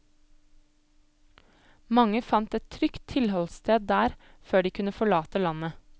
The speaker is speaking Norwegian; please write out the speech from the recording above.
Mange fant et trygt tilholdssted der før de kunne forlate landet.